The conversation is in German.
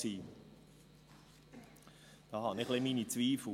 Da habe ich ein wenig meine Zweifel.